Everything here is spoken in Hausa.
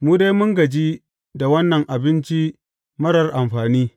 Mu dai mun gaji da wannan abinci marar amfani!